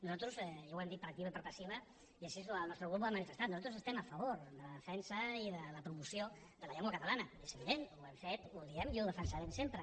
nosaltres i ho hem dit per activa i per passiva i així el nostre grup ho ha manifestat estem a favor de la defensa i de la promoció de la llengua catalana és evident i ho hem fet ho diem i ho defensarem sempre